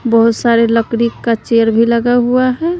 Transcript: बहोत सारे लकड़ी का चेयर भी लगा हुआ है।